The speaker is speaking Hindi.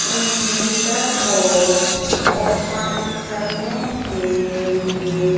इनमेर्टर को ओपन करने के लिए--